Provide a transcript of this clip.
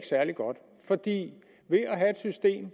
særlig godt fordi systemet